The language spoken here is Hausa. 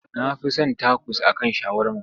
Na fi son takos a kan shawarma.